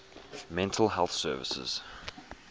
mental health services